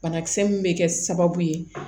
Banakisɛ min bɛ kɛ sababu ye